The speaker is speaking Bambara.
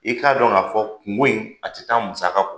I k'a dɔn ka fɔ kungo in ,a ti taa musaka kɔ.